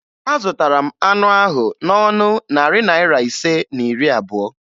Azụtara m anụ ahụ n'ọnụ narị naịra ise na iri abụo